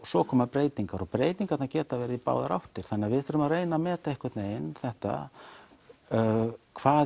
svo koma breytingar og breytingar geta verið í báðar áttir þannig að við þurfum að reyna að meta einhvern veginn þetta hvað